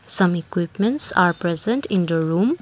some equipments are present in the room.